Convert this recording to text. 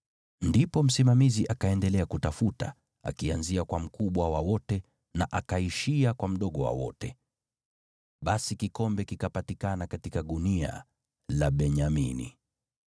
Ndipo msimamizi akaendelea kutafuta, akianzia kwa mkubwa wa wote na akaishia kwa mdogo wa wote. Basi kikombe kikapatikana katika gunia la Benyamini.